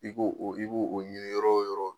I b' o, i b'o ɲinin yɔrɔ o yɔrɔ.